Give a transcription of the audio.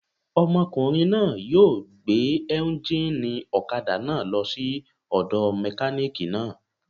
Ọmọkùnrin náà yóò gbé éúnjínì ọ̀kadà náà lọ sí ọ̀dọ̀ mẹkánìkì náà